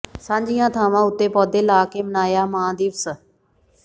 ਸਾਂਝੀਆਂ ਥਾਵਾਂ ਉੱਤੇ ਪੌਦੇ ਲਾ ਕੇ ਮਨਾਇਆ ਮਾਂ ਦਿਵਸ